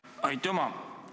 Aitüma!